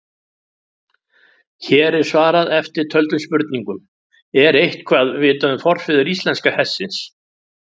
Hér er svarað eftirtöldum spurningum: Er eitthvað vitað um forfeður íslenska hestsins?